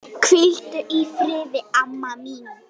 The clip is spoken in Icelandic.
Hvíldu í friði, amma mín.